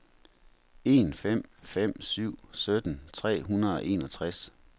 en fem fem syv sytten tre hundrede og enogtres